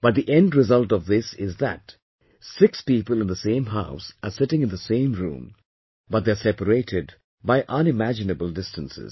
But the end result of this is that six people in the same house are sitting in the same room but they are separated by unimaginable distances